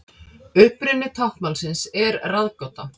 Uppruni táknmálsins er ráðgáta.